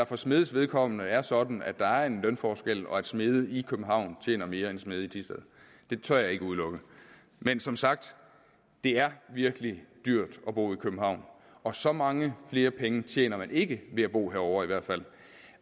for smedenes vedkommende er sådan at der er en lønforskel og at smede i københavn tjener mere end smede i thisted det tør jeg ikke udelukke men som sagt det er virkelig dyrt at bo i københavn og så mange flere penge tjener man ikke ved at bo herovre